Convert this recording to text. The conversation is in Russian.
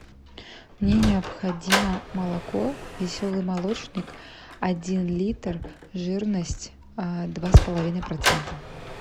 мне необходимо молоко веселый молочник один литр жирность два с половиной процента